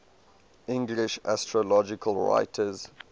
english astrological writers